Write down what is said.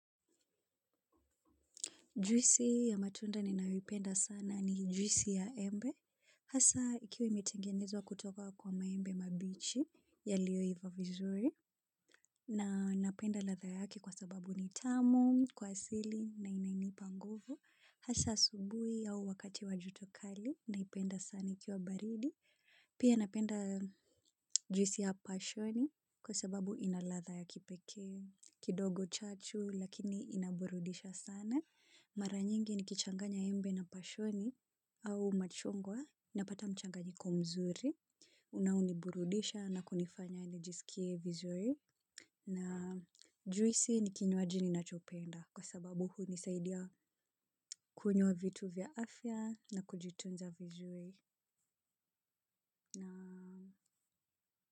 Juisi ya matunda ni naipenda sana ni juisi ya embe. Hasa ikiwa imetengenezwa kutoka kwa maembe mabichi yaliyoiva vizuri. Na napenda ladha yake kwa sababu ni tamu, kwa asili na inainipa nguvu. Hasa asubui au wakati wa joto kali naipenda sana ikiwa baridi. Pia napenda juisi ya pashoni kwa sababu ina ladha ya kipekee, kidogo chachu lakini inaburudisha sana. Mara nyingi nikichanganya embe na pashoni au machungwa napata mchanganyiko mzuri. Unaoniburudisha na kunifanya nijisikie vizuri. Na juisi ni kinywaji ninachopenda kwa sababu hunisaidia kunywa vitu vya afya na kujitunza vizuri.